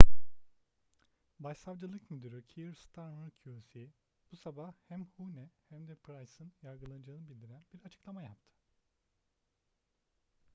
başsavcılık müdürü keir starmer qc bu sabah hem huhne hem de pryce'nin yargılanacağını bildiren bir açıklama yaptı